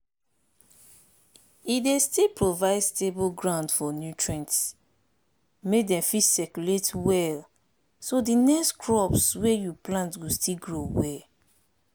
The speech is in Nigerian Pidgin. e dey still provide stable ground for nutrients make dem fit circulate well so di next crops wey you plant go still grow well